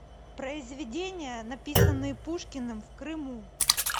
произведения написанные пушкиным в крыму